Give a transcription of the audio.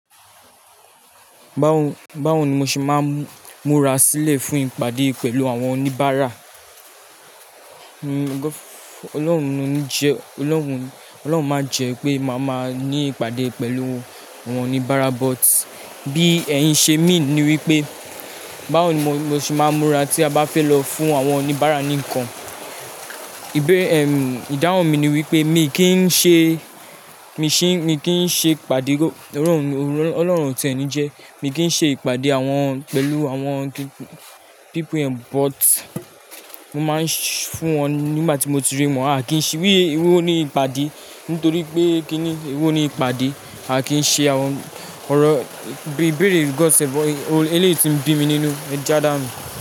Báwo ni mo ṣe máa ń múra sílẹ̀ fún ìpàdé pẹ̀lú àwọn oníbàárà? Ọlọ́run máa jẹ́ pé màá máa ní ìpàdé pẹ̀lú àwọn oníbàárà, but bí ẹ̀yin ṣe mi ni wípé báwo ni mo ṣe máa ń múra tí a bá fẹ́ lọ fún àwọn oníbàárà ni nǹkan. Bé ẹ̀m, ìdáhùn mi ni wípé mi kì í ṣe, mi kì í ṣe ìpàdé, Ọlọ́run o tiẹ̀ ní jẹ́, mi kì í ṣe ìpàdé àwọn pẹ̀lú àwọn people, but mo máa ń fún wọn nígbà tí mo ti rí wọn. A kì í ṣe wí ewo ni ìpàdé nítorí pé kíni ewo ni ìpàdé, a kì í ṣe àwọn ọ̀rọ̀, ìbéèrè God's but eléyìí tí ń bí mi nínú, ẹ jádá nu.